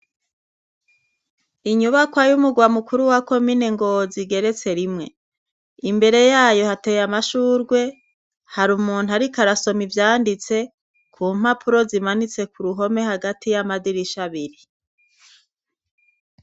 Inyubakwa y'umurwa mukuru wa komine Ngozi igeretse rimwe. Imbere yayo hateye amashurwe, hari umuntu ariko arasoma ivyanditse, ku mpapuro zimanitse ku ruhome hagayi y'amadirisha abiri.